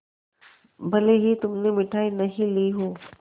भले ही तुमने मिठाई नहीं ली हो